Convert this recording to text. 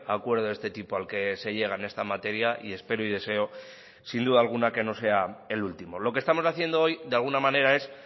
acuerdo de este tipo al que se llega en esta materia y espero y deseo sin duda alguna que no sea el último lo que estamos haciendo hoy de alguna manera es